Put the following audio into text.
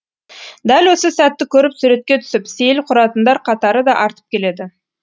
дәл осы сәтті көріп суретке түсіп сейіл құратындар қатары да артып келеді